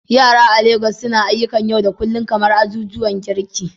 Yara a Legas suna ayyukan yau da kullun kamar azuzuwan girki